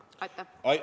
Ja mis šansid selleks on?